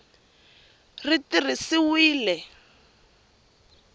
ri tirhisiwile hi nkhaqato wa